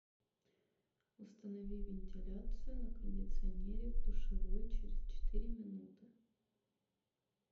установи вентиляцию на кондиционере в душевой через четыре минуты